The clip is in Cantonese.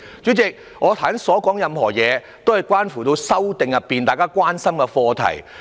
主席，我剛才所說種種，均關乎《條例草案》中大家所關心的課題。